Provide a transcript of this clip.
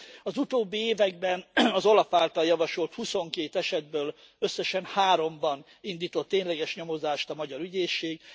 Az utóbbi években az OLAF által javasolt huszonkét esetből összesen háromban indított tényleges nyomozást a magyar ügyészség.